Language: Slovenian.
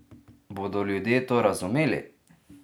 Bodo ljudje to razumeli?